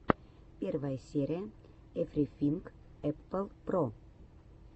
первая серия эврифинг эппл про